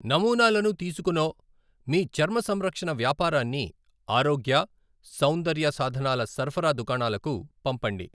నమూనాలను తీసుకునో మీ చర్మ సంరక్షణ వ్యాపారాన్ని ఆరోగ్య, సౌందర్య సాధనాల సరఫరా దుకాణాలకు పంపండి.